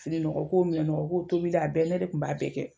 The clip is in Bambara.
Fininɔgɔ ko, minɛnɔgɔ ko, tobili a bɛɛ, ne de kun b'a bɛɛ kɛ.